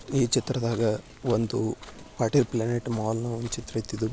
ಈ ಚಿತ್ರದಾಗ ಒಂದು ಪಾಟೀಲ್ ಪ್ಲಾನೆಟ್ ಮಾಲ್ ಒಂದು ಚಿತ್ರ ಆಯಿತು ಇದು.